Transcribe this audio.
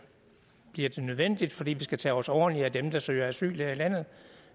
bliver nødvendigt fordi vi skal tage os ordentligt af dem der søger asyl her i landet